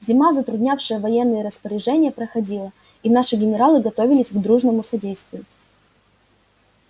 зима затруднявшая военные распоряжения проходила и наши генералы готовились к дружному содействию